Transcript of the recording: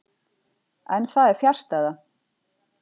En það er fjarstæða.